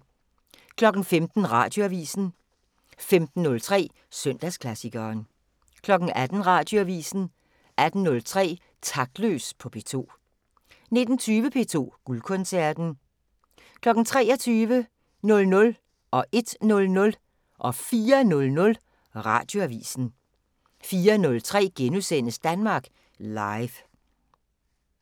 15:00: Radioavisen 15:03: Søndagsklassikeren 18:00: Radioavisen 18:03: Taktløs på P2 19:20: P2 Guldkoncerten 23:00: Radioavisen 00:00: Radioavisen 01:00: Radioavisen 04:00: Radioavisen 04:03: Danmark Live *